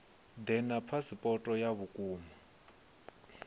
ḓe na phasipoto ya vhukuma